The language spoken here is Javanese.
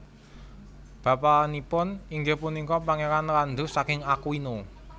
Bapanipun inggih punika Pangeran Landulf saking Aquino